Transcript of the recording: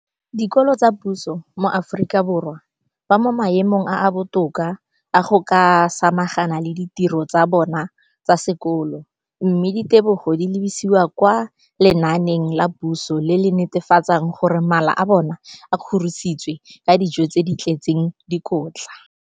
Dikolo tsa puso mo Aforika Borwa ba mo maemong a a botoka a go ka samagana le ditiro tsa bona tsa sekolo, mme ditebogo di lebisiwa kwa lenaaneng la puso le le netefatsang gore mala a bona a kgorisitswe ka dijo tse di tletseng dikotla.